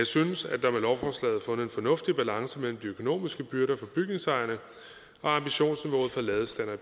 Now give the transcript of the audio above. synes at der med lovforslaget er fundet en fornuftig balance mellem de økonomiske byrder for bygningsejerne og ambitionsniveauet for ladestandere